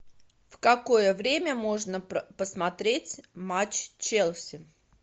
в какое время можно посмотреть матч челси